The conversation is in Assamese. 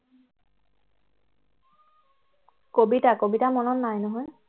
কবিতা কবিতা মনত নাই নহয়